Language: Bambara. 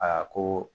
A ko